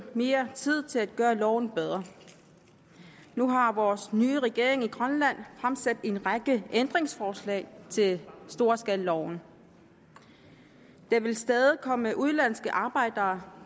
mere tid til at gøre loven bedre nu har vores nye regering i grønland fremsat en række ændringsforslag til storskalaloven der vil stadig komme udenlandske arbejdere